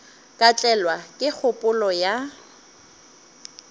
ka tlelwa ke kgopolo ya